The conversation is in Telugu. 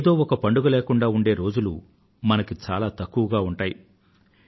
ఏదో ఒక పండుగా లేకుండా ఉండే రోజులు మనకు చాలా తక్కువగా ఉంటాయి